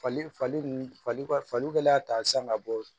Fali fali nun faliw kɛlen y'a ta san ka bɔ